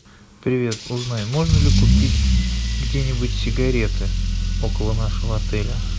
привет узнай можно ли купить где нибудь сигареты около нашего отеля